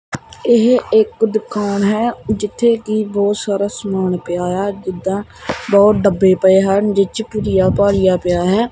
ਇਹ ਇੱਕ ਦੁਕਾਨ ਹੈ ਜਿੱਥੇ ਕਿ ਬਹੁਤ ਸਾਰਾ ਸਮਾਨ ਪਿਆ ਹੋਇਆ ਜਿੱਦਾਂ ਬਹੁਤ ਡੱਬੇ ਪਏ ਹਨ ਜਿਹ 'ਚ ਭੁਜਿਆ ਭਾਜਿਆ ਪਿਆ ਹੈ।